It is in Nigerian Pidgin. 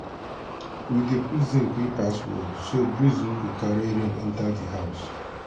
we dey put zinc wey pass wall so breeze no go carry rain enter di house.